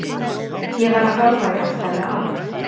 Ég var að horfa í allt aðra átt.